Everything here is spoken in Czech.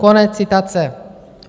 Konec citace.